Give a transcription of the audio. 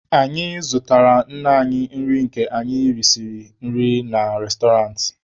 Anyị zụtara nne anyị nri ka anyị risiri nri na restọrantị.